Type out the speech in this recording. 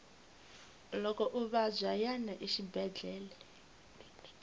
loko u vabya yana exibedele